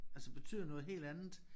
Altså betyder noget helt andet